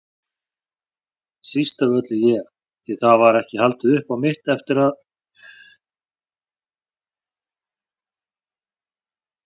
Síst af öllu ég, því það var ekki haldið upp á mitt eftir að